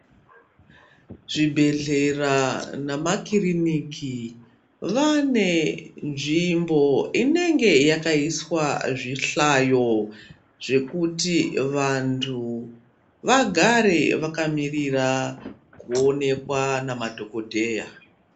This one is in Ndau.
Zvibhedhlera namakiriniki vane nzvimbo inenge yakaiswa zvihlayo zvekuti vantu vagare vakamirira kuonekwa namadhokodheya.